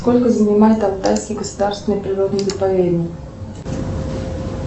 сколько занимает алтайский государственный природный заповедник